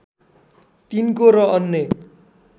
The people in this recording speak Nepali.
तिनको र अन्य